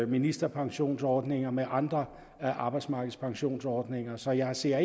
ministerpensionsordninger med andre af arbejdsmarkedets pensionsordninger så jeg ser